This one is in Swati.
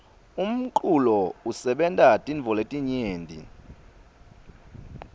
umculo usebenta tintfo letinyenti